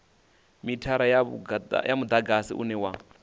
mithara wa mudagasi une wa